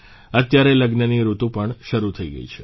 અત્યારે લગ્નની ઋતુ પણ શરૂ થઇ ગઇ છે